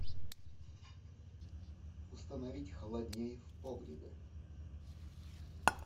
установить холоднее в погребе